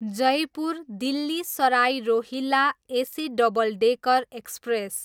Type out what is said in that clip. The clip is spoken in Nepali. Jaipur, Delhi Sarai Rohilla AC double decker express